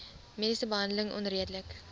mediese behandeling onredelik